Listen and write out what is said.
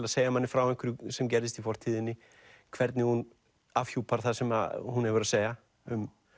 að segja manni frá einhverju sem gerðist í fortíðinni hvernig hún afhjúpar það sem hún hefur að segja um